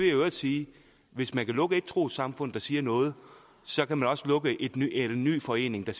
i øvrigt sige at hvis man kan lukke et trossamfund der siger noget så kan man også lukke en ny forening der